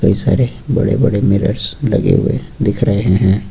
बहुत सारे बड़े बड़े मिरर्स लगे हुए दिख रहे हैं।